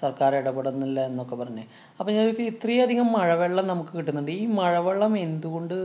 സര്‍ക്കാര്‍ എടപെടുന്നില്ല എന്നൊക്കെ പറഞ്ഞ്. അപ്പൊ ഞാന്‍ ചോദിക്കുവാ ഇത്രയധികം മഴവെള്ളം നമുക്ക് കിട്ടുന്നുണ്ട്‌. ഈ മഴവെള്ളം എന്തുകൊണ്ട്